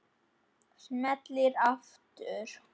Smelli aftur.